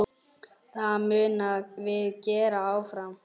Það munum við gera áfram.